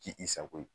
K'i sago ye